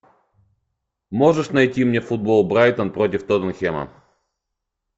можешь найти мне футбол брайтон против тоттенхэма